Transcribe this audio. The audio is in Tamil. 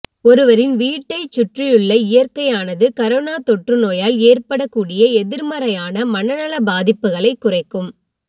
ஒருவரின் வீட்டைச் சுற்றியுள்ள இயற்கையானது கரோனா தொற்றுநோயால் ஏற்படக்கூடிய எதிர்மறையான மனநல பாதிப்புகளைக் குறைக்கும்